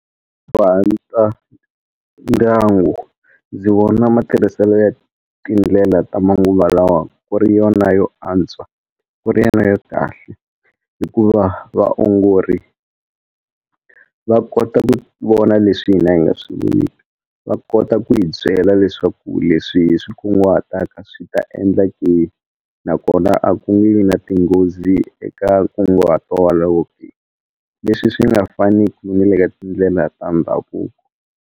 Ndyangu ndzi vona matirhiselo ya tindlela ta manguva lawa ku ri yona yo antswa ku ri yena ya kahle hikuva vaongori va kota ku vona leswi hina hi nga swi voniki va kota ku hi byela leswaku leswi swi kunguhataka swi ta endla nakona a ku nge vi na tinghozi eka nkunguhato leswi swi nga faniku ni le ka tindlela ta ndhavuko.